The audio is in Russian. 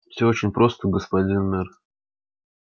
всё очень просто господин мэр